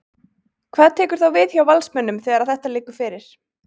Hvað tekur þá við hjá Valsmönnum þegar að þetta liggur fyrir?